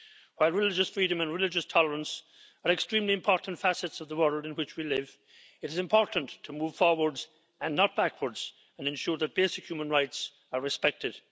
While religious freedom and religious tolerance are extremely important facets of the world in which we live, it is important to move forward and not backwards, and ensure that basic human rights are respected.